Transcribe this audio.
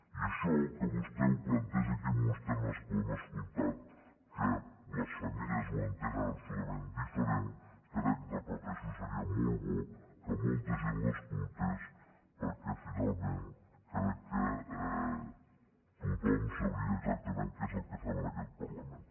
i això que vostè ho planteja aquí en uns termes que ho hem escoltat que les famílies ho entenen absolutament diferent crec ho repeteixo seria molt bo que molta gent l’escoltés perquè finalment crec que tothom sabria exactament què és el que fem en aquest parlament